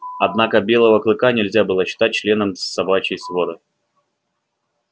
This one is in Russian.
однако белого клыка нельзя было считать членом собачьей своры